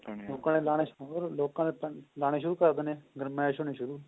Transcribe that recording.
ਲੋਕਾ ਨੇ ਲਾਉਣੇ ਸ਼ੁਰੂ ਲੋਕਾ ਨੇ ਤਾਂ ਲਾਨੇ ਸ਼ੁਰੂ ਕਰ ਦੇਣੇ ਐ ਗਰਮੈਸ਼ ਹੋਣੀ ਸ਼ੁਰੂ